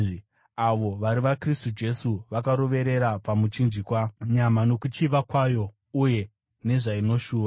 Avo vari vaKristu Jesu vakaroverera pamuchinjikwa nyama nokuchiva kwayo uye nezvainoshuva.